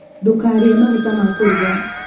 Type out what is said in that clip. Ndũkarĩe maguta ma kũruga